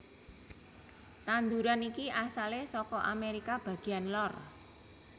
Tanduran iki asalé saka Amerika bagéyan lor